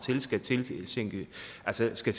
hertil skal